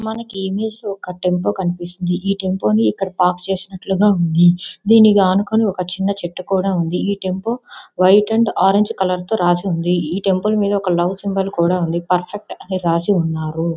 మనకు ఈ ఇమేజ్ లో ఒక టెంపో కనిపిస్తుంది ఈ టెంపో ని ఇక్కడ పార్క్ చేసినట్లుగా ఉంది. దీనిని ఆనుకొని ఒక చిన్న చెట్టు కూడా ఉంది. ఈ tempo orange and white colour తో రాసి ఉంది. ఈ టెంపో మీద ఒక లవ్ సింబల్ కూడా ఉంది . పర్ఫెక్ట్ అని రాసి ఉంది.